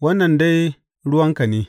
Wannan dai ruwanka ne.